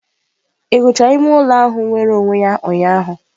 Ị gụchara ime ụlọ ahụ nwere onwe ya ụnyaahụ?